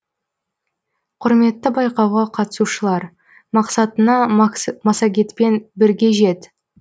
құрметті байқауға қатысушылар мақсатыңа массагетпен бірге жет